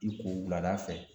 I ko wulada fɛ